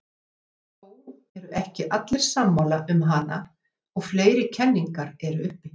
Þó eru ekki allir sammála um hana og fleiri kenningar eru uppi.